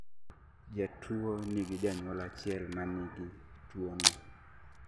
jatuwo nigi janyuol achiel manigi tuwono